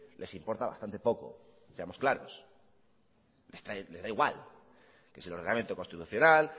les importa bastante poco seamos claros me da igual que si el ordenamiento constitucional